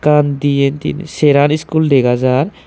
ekkan diyen tinen seraan school degajar.